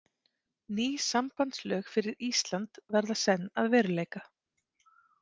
Ný sambandslög fyrir Ísland verða senn að veruleika.